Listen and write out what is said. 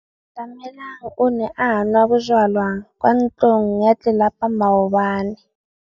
Atamelang o ne a nwa bojwala kwa ntlong ya tlelapa maobane.